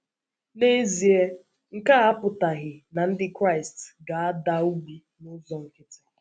N’ezie, nke a apụtaghị na Ndị Kraịst ga - ada ogbi n’ụzọ nkịtị.